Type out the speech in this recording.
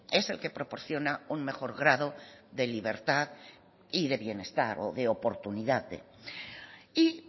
es el que proporciona un mejor grado de libertad y de bienestar o de oportunidades y